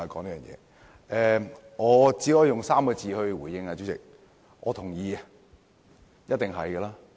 主席，我只可以用3個字來回應："我認同"。